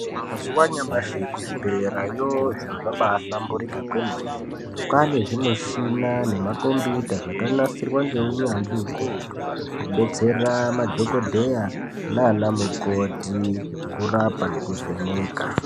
Mazuwa anyamashi kuzvibhedhleyayo zviri zvabahlamburuka kwemene kwane zvimuchina nemakombiyuta zvakanasirwa ngeunyanzvi ukurutu kubetsera madhokodheya nanamukoti kurapa nekuvheneka.